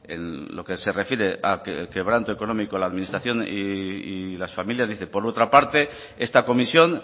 en lo que se refiere a quebranto económico en la administración y las familias dice que por otra parte esta comisión